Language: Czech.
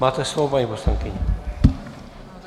Máte slovo, paní poslankyně.